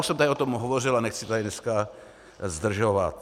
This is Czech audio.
Už jsem tady o tom hovořil a nechci tady dneska zdržovat.